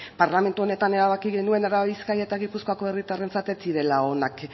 parlamentu honetan erabaki genuen araba bizkaia eta gipuzkoako herritarrentzat ez zirela onak